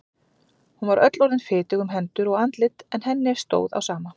Hún var öll orðin fitug um hendur og andlit en henni stóð á sama.